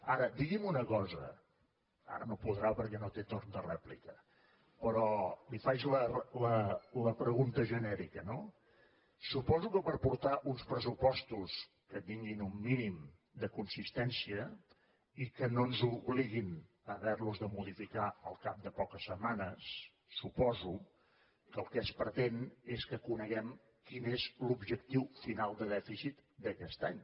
ara digui’m una cosa ara no podrà perquè no té torn de rèplica però li faig la pregunta genèrica no suposo que per portar uns pressupostos que tinguin un mínim de consistència i que no ens obliguin a haver los de modificar al cap de poques setmanes suposo que el que es pretén és que coneguem quin és l’objectiu final de dèficit d’aquest any